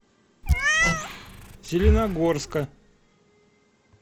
зеленогорска